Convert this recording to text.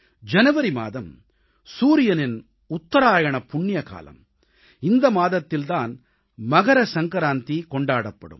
ஜனவரி மாதம் சூரியனின் உத்தராயணப் புண்ணிய காலம் இந்த மாதத்தில் தான் மகர சங்கராந்தி கொண்டாடப்படும்